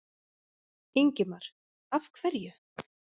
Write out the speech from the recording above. Ingimar: Af hverju?